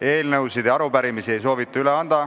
Eelnõusid ega arupärimisi ei soovita üle anda.